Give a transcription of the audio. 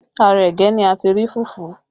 Ara ẹ̀gẹ́ ni a ti rí fufu